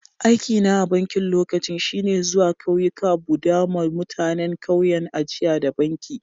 Aiki na a'bankin lokacin shine zuwa kauyuka buda ma mutanen kauyen ajia da banki.